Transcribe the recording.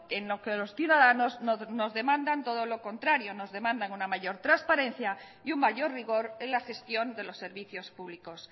en lo que los ciudadanos nos demandan todo lo contrario nos demandan una mayor transparencia y un mayor rigor en la gestión de los servicios públicos